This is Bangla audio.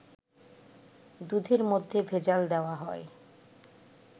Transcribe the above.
দুধের মধ্যে ভেজাল দেয়া হয়